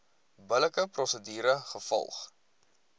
billike prosedure gevolg